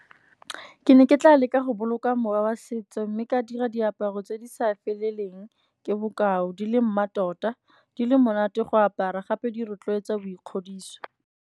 Ke ne ke tla leka go boloka mowa wa setso, mme ka dira diaparo tse di sa feleleng. Ke bokao di le mmatota di le monate go apara, gape di rotloetsa boikgodiso.